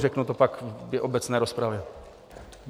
Řeknu to pak v obecné rozpravě.